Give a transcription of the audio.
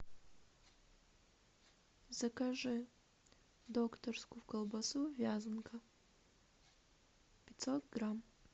закажи докторскую колбасу вязанка пятьсот грамм